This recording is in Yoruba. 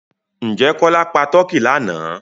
Ǹjẹ́ Kọ́lá pa tọ́kì lánàá?